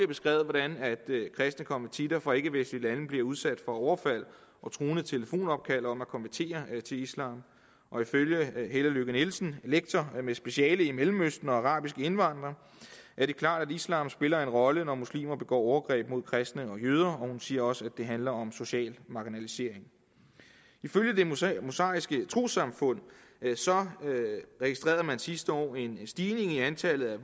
beskrevet hvordan kristne konvertitter fra ikkevestlige lande bliver udsat for overfald og truende telefonopkald om at konvertere til islam og ifølge helle lykke nielsen lektor med speciale i mellemøsten og arabiske indvandrere er det klart at islam spiller en rolle når muslimer begår overgreb mod kristne og jøder og hun siger også at det handler om social marginalisering ifølge det mosaiske mosaiske troessamfund registrerede man sidste år en stigning i antallet af